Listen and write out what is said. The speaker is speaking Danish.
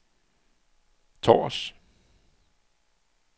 Tårs